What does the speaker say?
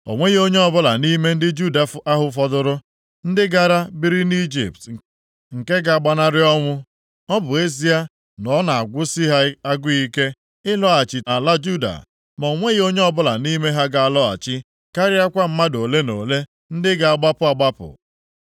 O nweghị onye ọbụla nʼime ndị Juda ahụ fọdụrụ, ndị gara biri nʼIjipt nke ga-agbanarị ọnwụ. Ọ bụ ezie na ọ na-agụsị ha agụụ ike ịlọghachi nʼala Juda, ma o nweghị onye ọbụla nʼime ha ga-alọghachi, karịakwa mmadụ ole na ole ndị ga-agbapụ agbapụ.”